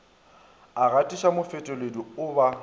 a gatišwa mofetoledi o ba